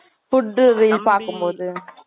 food லாம் பாக்கும் போது